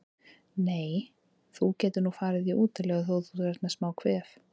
Nei, þú getur nú farið í útilegu þótt þú sért með smá kvef.